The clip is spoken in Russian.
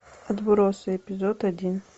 отбросы эпизод один